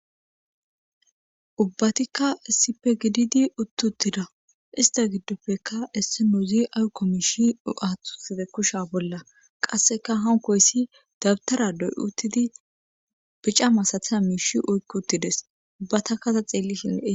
ubbatikka sipe gididi uttuttida ista giddopfekka issinuuzi ayukko miishi 7athtuside kusha bolla qasseka hankoyssi dabtaradoy uttidi bica masathaya miishi oykk uttides ubbatakkasa xeellishinlee